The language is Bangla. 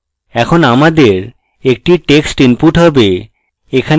এখন আমাদের একটি text input have